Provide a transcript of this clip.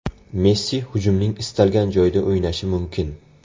Messi hujumning istalgan joyida o‘ynashi mumkin.